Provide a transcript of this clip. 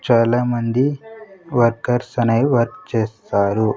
చాలామంది వర్కర్స్ అనేవి వర్క్ చేస్తారు.